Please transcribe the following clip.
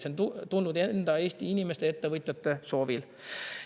See on tulnud Eesti enda inimeste ja ettevõtjate soovil.